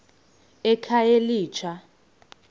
ekhayelitsha